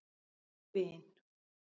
Vin